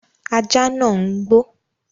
Ajá nàá ń gbó